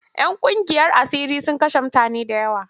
‘Yan ƙungiyar asiri sun kashe mutane da yawa.